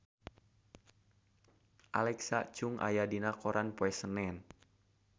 Alexa Chung aya dina koran poe Senen